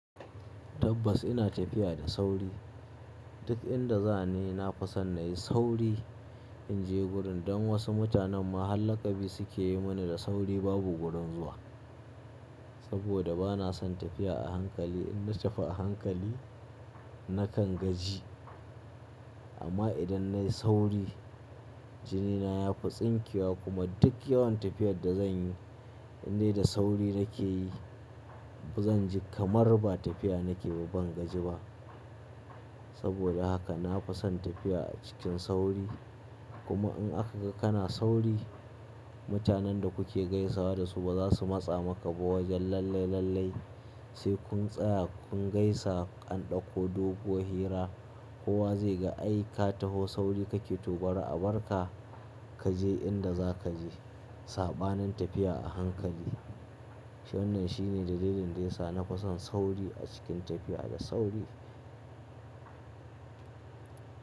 Tabbas ina tafiya da sauri, duk inda za ni na kusa nayi sauri in je gurin don wasu mutanen ma har laƙabi suke yi mani da sauri babu gurin zuwa. Saboda bana son tafiya a hankali, in na tafi a hankali nakan gaji, amma idan nayi sauri jini na ya fi tsinkewa, kuma duk yawan tafiyar da zanyi, in dai da sauri nake yi, ba zan ji kamar ba tafiya nake ba ban gaji ba. Saboda haka, na fi son tafiya a cikin sauri kuma in aka ga kana sauri mutanen da kuke gaisawa da su ba za su matsa maka ba wajen lallai lallai sai kun tsaya kun gaisa an ɗauko doguwan hira kowa zai ga ai ka taho sauri kake to gwara a barka kaje inda za kaje. Saɓanin tafiya a hankali. To, wannan shine dalilin da yasa na fison sauri a cikin tafiya da sauri.